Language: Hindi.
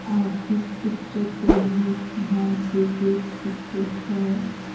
आप इस पिक्चर को भी ध्यान से देख सकते हैं।